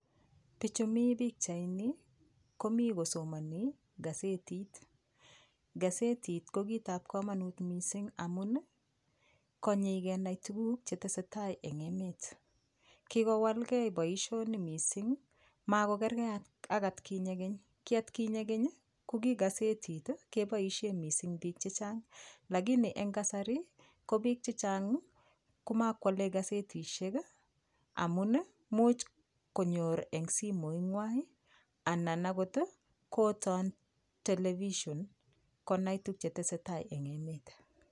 Bichu mi pikchaini komi kosomoni gazetit gazetit ko kitab komonut mising' amun konyoei kenai tukuk chetesei tai eng' emet kikowalgei boishonik mising' makokergei ak atkinye keny ki atkinye keny ko ki gazetit keboishe mising' biik chechang' lakini eng' kasari ko biik chechang' komakwolei gazetishek amun muuch konyor eng' simoikwai anan akot koton television konai tukchetesei tai eng' emet